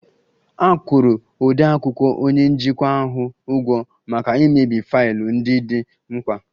A kwụrụ odeakwụkwọ onye njikwa ahụ ụgwọ maka imebi faịlụ ndị dị mkpa